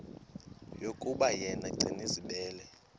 yokuba yena gcinizibele